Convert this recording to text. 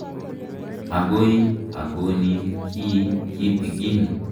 Akoi a konin ki kitikin.